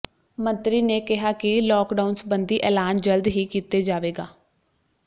ਮੰਤਰੀ ਨੇ ਕਿਹਾ ਕਿ ਲੌਕਡਾਊਨ ਸਬੰਧੀ ਐਲਾਨ ਜਲਦ ਹੀ ਕੀਤੇ ਜਾਵੇਗਾ